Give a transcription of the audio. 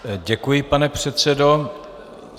Děkuji, pane předsedo.